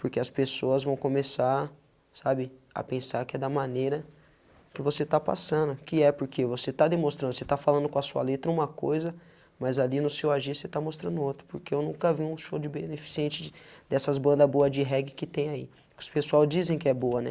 Porque as pessoas vão começar, sabe, a pensar que é da maneira que você está passando, que é porque você está demonstrando, você está falando com a sua letra uma coisa, mas ali no seu agir você está mostrando outra, porque eu nunca vi um show de beneficente dessas banda boa de reggae que tem aí, que os pessoal dizem que é boa, né?